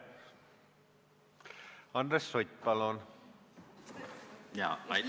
Andres Sutt, palun!